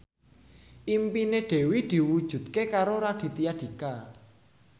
impine Dewi diwujudke karo Raditya Dika